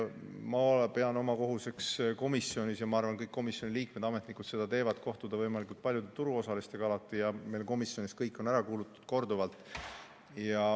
Ma pean komisjoni juhtides oma kohuseks, ja ma arvan, et kõik komisjoni liikmed ja ametnikud seda teevad, kohtuda võimalikult paljude turuosalistega ja meil komisjonis on nad kõik korduvalt ära kuulatud.